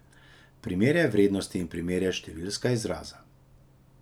Primerjaj vrednosti in primerjaj številska izraza.